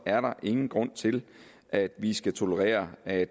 er der ingen grund til at vi skal tolerere at